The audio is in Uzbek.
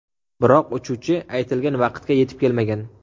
Biroq uchuvchi aytilgan vaqtga yetib kelmagan.